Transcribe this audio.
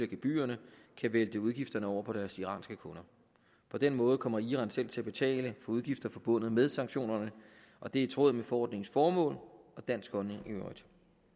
gebyrerne kan vælte udgifterne over på deres iranske kunder på den måde kommer iran selv til at betale for udgifter forbundet med sanktionerne og det er i tråd med forordningens formål og dansk holdning i øvrigt